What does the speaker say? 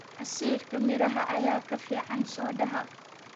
Casiirka miraha ayaa ka fiican soodhaha.